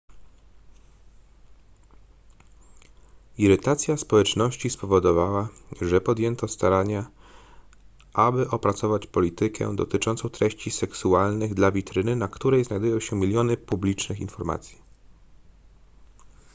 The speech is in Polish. irytacja społeczności spowodowała ze podjęto starania aby opracować politykę dotyczącą treści seksualnych dla witryny na której znajdują się miliony publicznych informacji